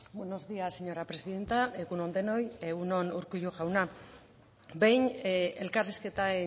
buenos días señora presidenta egun on denoi egun on urkullu jauna behin elkarrizketa